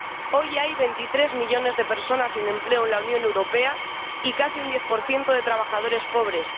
Hoy hay 23 millones de personas sin empleo en la Unión Europea y casi un 10 de trabajadores pobres.